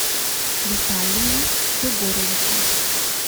виталии егоровиче